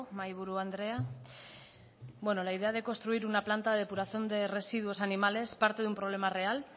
mahaiburu andrea la idea de construir una planta de depuración de residuos animales parte de una problema real